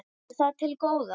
Heimir: Er það til góða?